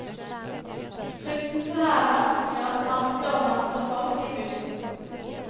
Frykten for hærverk gjør at det alltid overnatter folk i bussen.